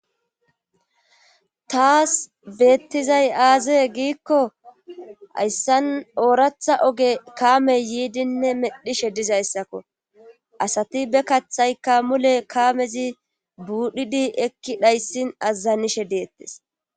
Taas beettizay aazee giikko hayssan ooratha oge kaamey yiidinne medhishe dizayssakko asati be kathayka mule kaamezi buudhidi ekki dhayssin azzanishe deettes.